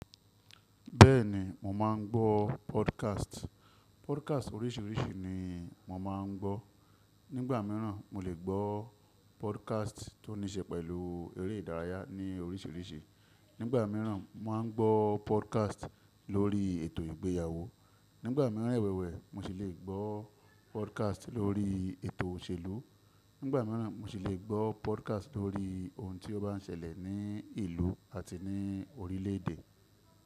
Bẹ́ẹ̀ni, mò máa ń gbọ́ podcast. Podcast oríṣiríṣi ni mò máa ń gbọ́. Nígbà míràn mo lè gbọ́ podcast tó níṣe pẹ̀lú eré ìdárayá ní oríṣiríṣi. Nígbà míràn máa ń gbọ́ podcast lórí ètò ìgbéyàwó. Nígbà míràn rẹwẹwẹ mo sì le gbọ́ podcast lórí ètò òṣèlú. Nígbà míràn mo sì le gbọ́ podcast lórí ohun tí ó bá ń ṣẹlẹ̀ ní ìlú àti ní orílè èdè.